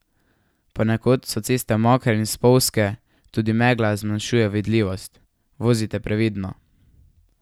Ponekod so ceste mokre in spolzke, tudi megla zmanjšuje vidljivost, vozite previdno!